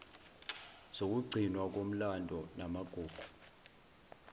zokugcinwa komlando namagugu